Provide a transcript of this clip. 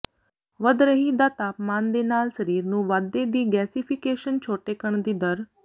ਵਧ ਰਹੀ ਦਾ ਤਾਪਮਾਨ ਦੇ ਨਾਲ ਸਰੀਰ ਨੂੰ ਵਾਧੇ ਦੀ ਗੈਸੀਫੀਕੇਸ਼ਨ ਛੋਟੇਕਣ ਦੀ ਦਰ